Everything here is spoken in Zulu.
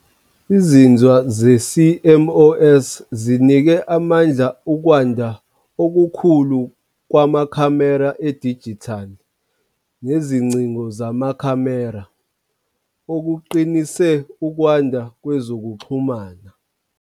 Izinzwa ze-CMOS zinikwe amandla ukwanda okukhulu kwamakhamera edijithali nezingcingo zamakhamera, okuqinise ukwanda kwezokuxhumana.